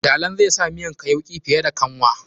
Dalan zai sa miyanka yauki fiye da kanwa.